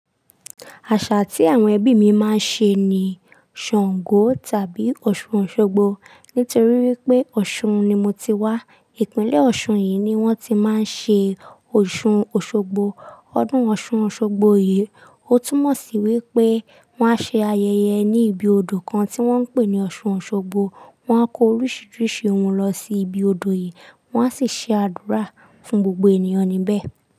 Àṣà tí àwọn ẹbí mi máa ń ṣe ni Ṣàngó tàbí Ọ̀ṣun Òṣogbo. Nítorí wípé Ọ̀ṣun ni mo ti wá. Ìpínlẹ̀ Ọ̀ṣun yìí ni wón ti máa ń ṣe Òṣun Òṣogbo. Ọdún Ọ̀ṣun Òṣogbo yìí, ó túmọ̀ sí wípé wón á ṣe ayẹyẹ ní ibi odò kan tí wón ń pè ní Ọ̀ṣun Òṣogbo. Wón á ko oríṣiríṣi ohun lọ sí ibi odò yìí, wón á sì ṣe àdúrà fún gbogbo ènìyàn níbẹ̀.